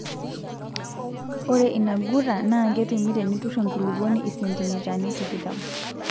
ore inaguta NAA ketumi tinutur enkulupuoni isentimitani tikitam